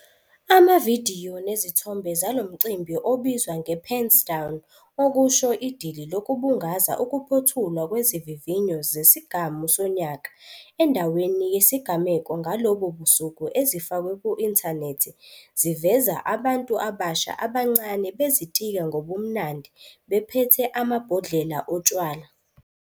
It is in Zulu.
Amavidiyo nezithombe zalo mcimbi obizwa 'nge-pens down', okusho idili lokubungaza ukuphothulwa kwezivivinyo zesigamu sonyaka, endaweni yesigameko ngalobo busuku ezifakwe ku-inthanethi ziveza abantu abasha abancane bezitika ngobumnandi bephethe amabhodlela otshwala.